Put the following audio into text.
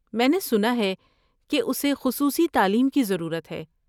میں نے سنا ہے کہ اسے خصوصی تعلیم کی ضرورت ہے۔